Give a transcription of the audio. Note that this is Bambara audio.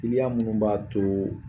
Iliya munnu b'a too